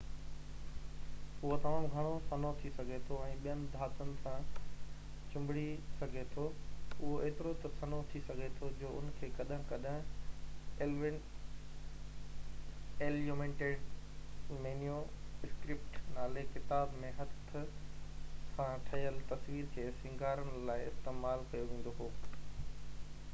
اهو تمام گهڻوسنهو ٿي سگهي ٿو ۽ ٻين ڌاتن سان چِنڀڙي سگهي ٿو اهو ايترو ته سنهو ٿي سگهي ٿي جو ان کي ڪڏهن ڪڏهن اليومنيٽيڊ مينيو اسڪرپٽ نالي ڪتابن ۾ هٿ سان ٺهيل تصويرن کي سينگارڻ لاءِ استعمال ڪيو ويندو هو